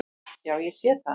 Já, ég sé það!